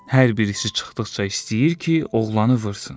Hər birisi çıxdıqca istəyir ki, oğlanı vursun.